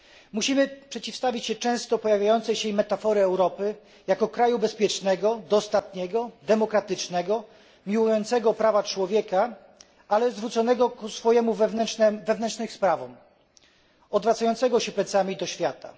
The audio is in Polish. Musimy przeciwstawić się często pojawiającej się metaforze Europy jako kraju bezpiecznego, dostatniego, demokratycznego, miłującego prawa człowieka, ale zwróconemu ku swoim wewnętrznym sprawom, odwracającego się plecami do świata.